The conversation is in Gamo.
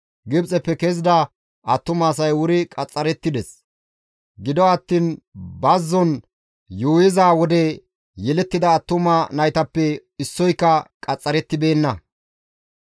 Gibxeppe kezida attuma asay wuri qaxxarettides; gido attiin bazzon yuuyiza wode yelettida attuma naytappe issoyka qaxxarettibeenna.